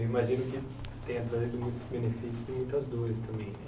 Eu imagino que tenha trazido muitos benefícios e muitas dores também.